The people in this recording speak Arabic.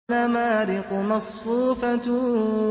وَنَمَارِقُ مَصْفُوفَةٌ